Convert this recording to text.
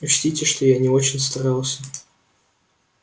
учтите что я не очень старался